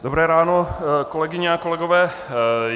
Dobré ráno, kolegyně a kolegové.